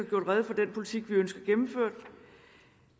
gjort rede for den politik vi ønsker gennemført